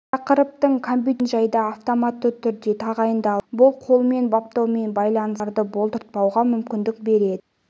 тақырыптың компьютерлерге мекен-жайды автоматты түрде тағайындайды бұл қолмен баптаумен байланысты қиындықтарды болдыртпауға мүмкіндік береді